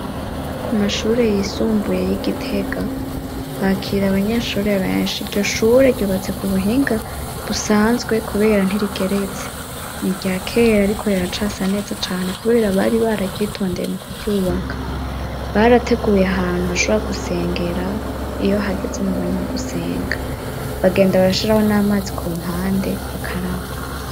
Ku mashure yisumbuye y'i Gitega, bakira abanyeshure benshi; iryo shure ryubatse ku buhinga busanzwe kubera ntirigeretse; ni irya kera ariko riracasa neza cane, kubera bari bararyitondeye mu kuryubaka; barateguye ahantu bashobora gusengera iyo hageze mu mwanya wo gusenga, bagenda barashiraho n'amazi ku mpande bakaraba.